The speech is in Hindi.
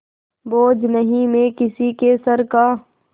बोझ नहीं मैं किसी के सर का